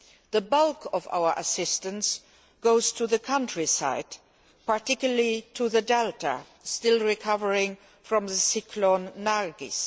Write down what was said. The bulk of our assistance goes to the countryside particularly to the delta which is still recovering from cyclone Nargis.